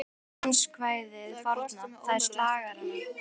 Manstu danskvæðið forna, það er slagarann